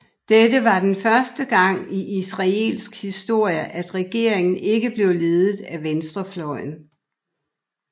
Dette var den første gang i israelsk historie at regeringen ikke blev ledet af venstrefløjen